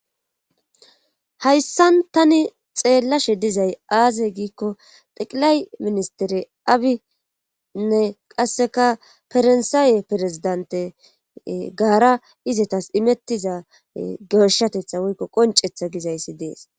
hayssan tani xeellashe dizay aaze giikko xeqilay ministere abinne qasseka farsaaye perezidante gaara izetas imettiza gershatetha woykko qoncetha gizayssi dees